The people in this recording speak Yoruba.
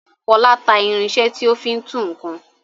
Fọlá ta irinṣẹ́ tí ó fi ń tú nǹkan.